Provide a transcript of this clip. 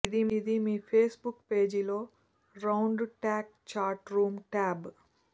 ఇది మీ ఫేస్బుక్ పేజీలో round talk chat room tab